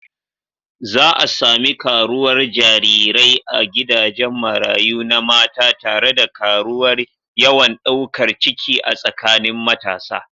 Za a sami karuwar jarirai a gidajen marayu na mata tare da karuwar yawan daukar ciki a tsakanin matasa.